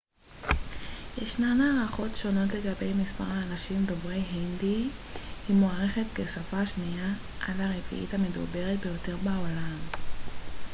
ישנן הערכות שונות לגבי מספר האנשים דוברי ההינדי היא מוערכת כשפה השנייה עד הרביעית המדוברת ביותר בעולם